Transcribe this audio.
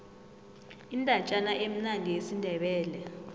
indatjana emnandi yesindebele